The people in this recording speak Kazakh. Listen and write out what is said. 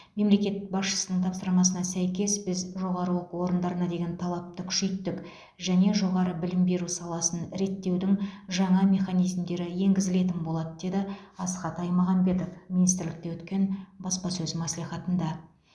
мемлекет басшысының тапсырмасына сәйкес біз жоғары оқу орындарына деген талапты күшейттік және жоғары білім беру саласын реттеудің жаңа механизмдері енгізілетін болады деді асхат аймағамбетов министрлікте өткен баспасөз мәслихатында